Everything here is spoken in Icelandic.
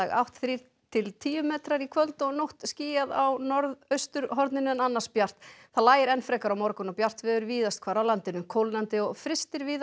átt þrír til tíu metrar í kvöld og nótt skýjað á norðausturhorninu en annars bjart það lægir enn frekar á morgun og bjart veður víðast hvar á landinu kólnandi og frystir víða